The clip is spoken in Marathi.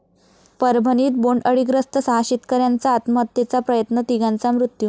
परभणीत बोंडअळीग्रस्त सहा शेतकऱ्यांचा आत्महत्येचा प्रयत्न, तिघांचा मृत्यू